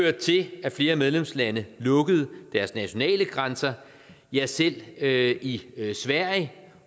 at flere medlemslande lukkede deres nationale grænser ja selv i sverige